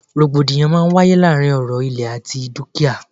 Rògbòdìyàn a máà ń wáyé lóri ọ̀rọ̀ ìlẹ̀ àti dúkìá.